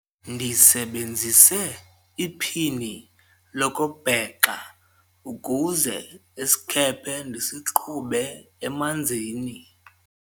ndisebenzise iphini lokubhexa ukuze isikhephe ndisiqhube emanzini